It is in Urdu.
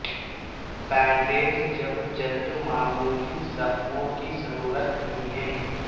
بینڈیج جب جلد معمولی زخموں کی ضرورت نہیں ہے